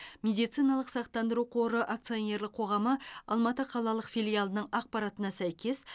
медициналық сақтандыру қоры акционерлік қоғамы алматы қалалық филиалының ақпаратына сәйкес